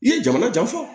I ye jamana jan fɔ